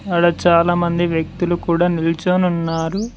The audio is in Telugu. ఆడ చాలా మంది వ్యక్తులు కూడా నిల్చొని ఉన్నారు.